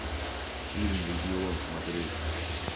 фильм легион смотреть